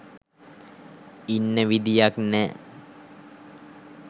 ඉන්න විදියක් නෑ.